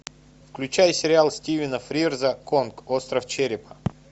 включай сериал стивена фрирза конг остров черепа